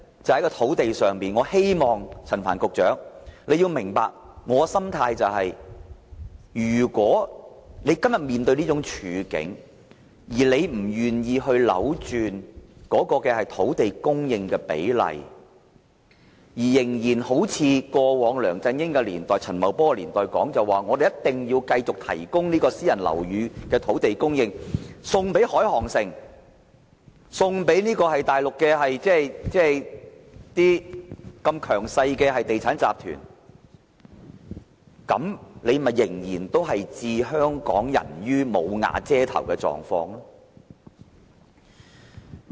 在土地供應方面，我希望陳帆局長明白，如果政府今天面對這種處境卻不願意扭轉土地供應比例，仍然像過往梁振英及陳茂波年代所主張的，繼續把私人樓宇的土地供應，送給深圳海航城或大陸的強勢地產集團，政府仍會令一些香港人"無瓦遮頭"。